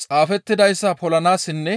xaafettidayssa polanaassinne